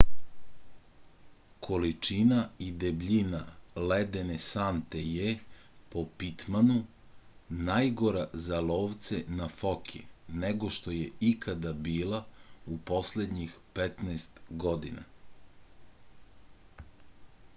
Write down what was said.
količina i debljina ledene sante je po pitmanu najgora za lovce na foke nego što je ikada bila u poslednjih 15 godina